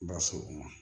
Ba so o ma